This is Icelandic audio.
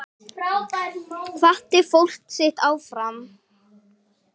Hvatti fólkið sitt áfram.